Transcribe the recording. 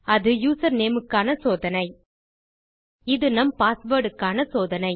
அது யூசர்நேம் க்கான சோதனை இது நம் பாஸ்வேர்ட் க்கு சோதனை